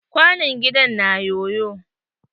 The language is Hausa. Kwanon gida na na yoyo.